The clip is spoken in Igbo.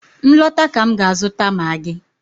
M lọta ka m ga-azụta maagi.